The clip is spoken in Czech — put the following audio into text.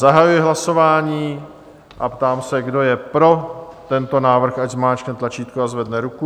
Zahajuji hlasování a ptám se, kdo je pro tento návrh, ať zmáčkne tlačítko a zvedne ruku.